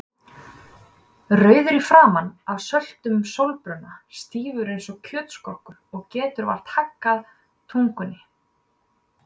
rauður í framan af söltum sólbruna, stífur eins og kjötskrokkur og getur vart haggað tungunni.